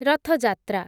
ରଥ ଯାତ୍ରା